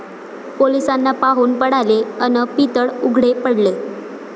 पोलिसांना पाहुन पळाले अन् पितळ उघडे पडले!